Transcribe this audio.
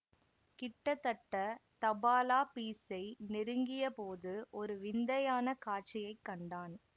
கிட்டத்தட்ட தபாலாபீசை நெருங்கிய போது ஒரு விந்தையான காட்சியை கண்டான்